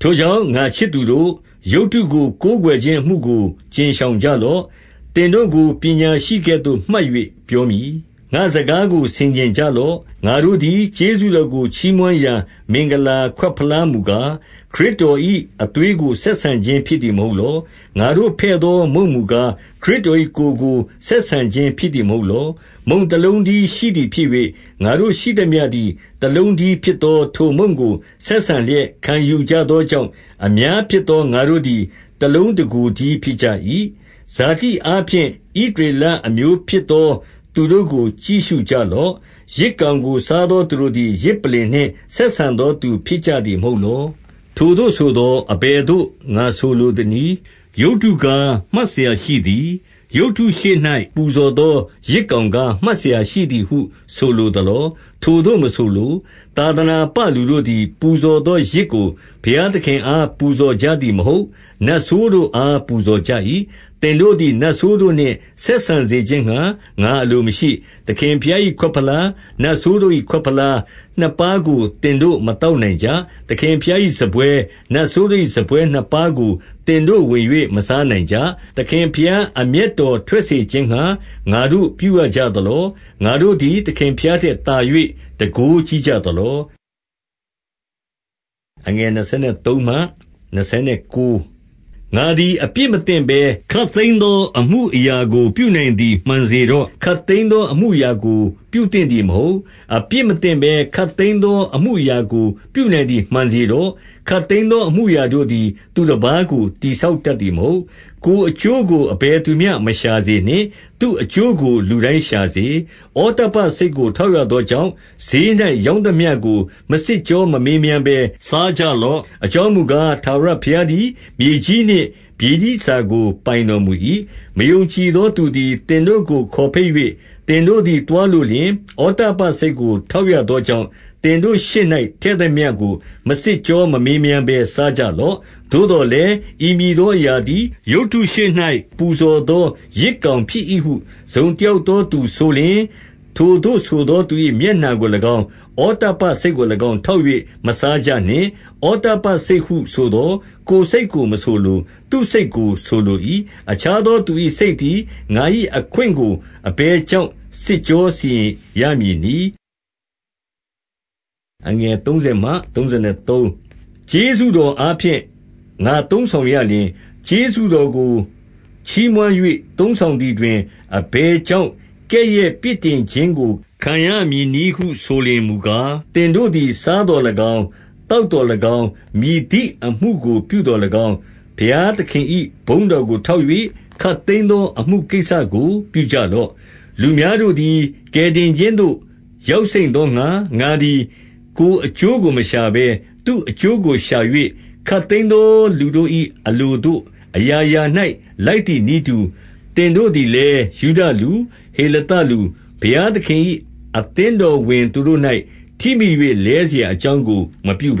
ထိုကြောင့် ငါ့ချစ်သူတို့၊ ရုပ်တို့ကို ကိုးကွယ်ခြင်း အမှုကို ကြဉ်ရှောင်ကြလော့။ 15 သင်တို့ကို ပညာရှိသကဲ့သို့မှတ်၍ ပြောမည်။ ငါ့စကားကို ဆင်ခြင်ကြလော့။ 16 ငါတို့သည် ကျေးဇူးတော်ကို ချီးမွမ်းရာ မင်္ဂလာခွက်ဖလားမူကား၊ ခရစ်တော်၏အသွေးကို ဆက်ဆံခြင်း ဖြစ်သည် မဟုတ်လော။ ငါတို့ဖဲ့သောမုန့်မူကား၊ ခရစ်တော်၏ ကိုယ်ကို ဆက်ဆံခြင်းဖြစ်သည် မဟုတ်လော။ 17 မုန့်တလုံးတည်းရှိသည်ဖြစ်၍၊ ငါတို့ရှိသမျှသည် တလုံးတည်း ဖြစ်သောထိုမုန့်ကို ဆက်ဆံလျက် ခံယူကြ သောကြောင့်၊ အများဖြစ်သော ငါတို့သည် တလုံးတကိုယ်တည်းဖြစ်ကြ၏။ 18 ဇာတိအားဖြင့် ဣသရေလအမျိုးဖြစ်သော သူတို့ကို ကြည့်ရှုကြလော့။ ယဇ်ကောင်ကိုစားသော သူတို့သည် ယဇ်ပလ္လင်နှင့် ဆက်ဆံသောသူဖြစ်ကြသည် မဟုတ်လော။ 19 ထိုသို့ဆိုသော် အဘယ်သို့ ငါဆိုလိုသနည်း။ ရုပ်တုကား မှတ်စရာရှိသည်၊ ရုပ်တုရှေ့၌ ပူဇော်သော ယဇ်ကောင်ကား မှတ်စရာရှိသည်ဟု ဆိုလိုသလော။ 20 ထိုသို့မဆိုလို။ သာသနာပလူတို့သည် ပူဇော်သောယဇ်ကို ဘုရားသခင်အား ပူဇော်ကြသည်မဟုတ်။ နတ်ဆိုးတို့အား ပူဇော်ကြ၏။ သင်တို့သည် နတ်ဆိုးတို့နှင့် ဆက်ဆံစေခြင်းငှါ ငါအလိုမရှိ။ 21 သခင်ဘုရား၏ ခွက်ဖလား၊ နတ်ဆိုးတို့၏ ခွက်ဖလားနှစ်ပါးကို သင်တို့မသောက်နိုင်ကြ။ သခင်ဘုရား၏ စားပွဲ၊ နတ်ဆိုးတို့၏စားပွဲနှစ်ပါးကို သင်တို့ဝင်၍ မစားနိုင်ကြ။ 22 သခင်ဘုရား အမျက်တော်ထွက်စေခြင်းငှါ ငါတို့ ပြုရကြသလော။ ငါတို့သည် သခင်ဘုရားထက်သာ၍ တန်ခိုးကြီးကြသလော။ 23 ငါသည် အပြစ်မသင့်ဘဲ ခပ်သိမ်းသော အမှုအရာကို ပြုနိုင်သည် မှန်စေတော့။ ခပ်သိမ်းသော အမှုအရာကို ပြုသင့်သည်မဟုတ်။ အပြစ်မသင့်ဘဲ ခပ်သိမ်းသောအမှုအရာကို ပြုနိုင်သည် မှန်စေတော့။ ခပ်သိမ်းသော အမှုအရာတို့သည် သူတပါးကို တည်ဆောက်တတ်သည်မဟုတ်။ 24 ကိုယ်အကျိုးကို အဘယ်သူမျှမရှာစေနှင့်။ သူ့အကျိုးကို လူတိုင်းရှာစေ။ 25 ဩတ္တပ္ပစိတ်ကို ထောက်ရသောကြောင့်၊ ဈေး၌ ရောင်းသမျှကို မစစ်ကြောမမေးမြန်းဘဲ စားကြလော့။ 26 အကြောင်းမူကား၊ ထာဝရဘုရားသည် မြေကြီး နှင့် မြေကြီးတန်ဆာကို ပိုင်တော်မူ၏။ 27 မယုံကြည်သောသူသည် သင်တို့ကိုခေါ်ဘိတ်၍ သင်တို့သည် သွားလိုလျှင်၊ ဩတ္တပ္ပစိတ်ကို ထောက်ရသောကြောင့်၊ သင်တို့ရှေ့၌ ထည့်သမျှကို မစစ်ကြော မမေးမြန်းဘဲ စားကြလော့။ 28 သို့သော်လည်း ဤမည်သောအရာသည် ရုပ်တုရှေ့၌ ပူဇော်သော ယဇ်ကောင်ဖြစ်၏ဟု တစုံတယောက် သောသူဆိုလျှင်၊ ထိုသို့ဆိုသော သူ၏မျက်နှာကို၎င်း၊ ဩတ္တပ္ပစိတ်ကို၎င်း၊ ထောက်၍ မစားကြနှင့်။ 29 ဩတ္တပ္ပစိတ် ဟုဆိုသော် ကိုယ်စိတ်ကိုမဆိုလို၊ သူ့စိတ်ကို ဆိုလို၏။ အခြားသောသူ၏စိတ်သည် ငါ၏အခွင့်ကို အဘယ် ကြောင့် စစ်ကြောစီရင်ရမည်နည်း။ 30 ကျေးဇူးတော်အားဖြင့် ငါသုံးဆောင်ရလျှင်၊ ကျေးဇူးတော်ကို ချီးမွမ်း၍ သုံးဆောင်သည်တွင် အဘယ် ကြောင့် ကဲ့ရဲ့ပြစ်တင်ခြင်းကို ခံရမည်နည်းဟု ဆိုလျှင် မူကား၊ 31 သင်တို့သည်စားသော်၎င်း၊ သောက်သော်၎င်း၊ မည်သည့်အမှုကို ပြုသော်၎င်း၊ ဘုရားသခင်၏ ဘုန်းတော်ကို ထောက်၍ ခပ်သိမ်းသောအမှုကိစ္စကို ပြုကြလော့။ 32 လူများတို့သည် ကယ်တင်ခြင်းသို့ ရောက်စိမ့်သောငှါ၊ ငါသည် ကိုယ်အကျိုးကိုမရှာဘဲ သူ့အကျိုးကို ရှာ၍၊ 33 ခပ်သိမ်းသောလူတို့၏ အလိုသို့အရာရာ၌ လိုက်သည်နည်းတူ၊ သင်တို့သည်လည်း ယုဒလူ၊ ဟေလသ လူ၊ ဘုရားသခင်၏ အသင်းတော်ဝင်သူတို့၌ ထိမိ၍ လဲစရာ အကြောင်းကို မပြုဘ